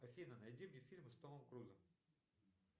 афина найди мне фильмы с томом крузом